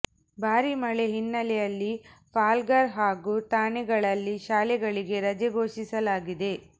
ಭಾರೀ ಮಳೆ ಹಿನ್ನೆಲೆಯಲ್ಲಿ ಪಾಲ್ಗಾರ್ ಹಾಗೂ ಥಾಣೆಗಳಲ್ಲಿ ಶಾಲೆಗಳಿಗೆ ರಜೆ ಘೋಷಿಸಲಾಗಿದೆ